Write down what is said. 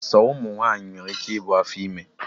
Sọ ụmụ nwaanyị nwere ike ibu afọ ime